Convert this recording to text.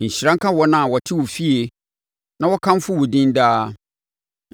Nhyira nka wɔn a wɔte wo fie; na wɔkamfo wo din daa.